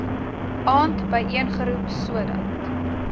aand byeengeroep sodat